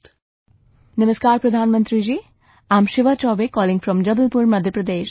"Namaskar Pradhan Mantri ji, I am Shivaa Choubey calling from Jabalpur, Madhya Pradesh